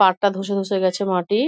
পার টা ধসে ধসে গেছে মাটির |